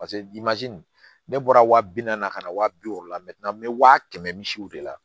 paseke dimansi ne bɔra wa bi naani ka na waa bi wɔɔrɔ la n bɛ waa kɛmɛ misiw de la